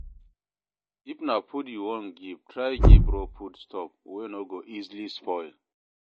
If na food you won give try give raw foods stuff wey no go easily spoil